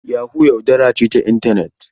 Yahoo yaudara ce ta intanet.